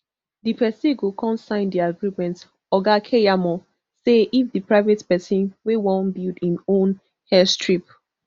di pesin go con sign di agreement oga keyamo say if di private pesin wey wan build im own airstrip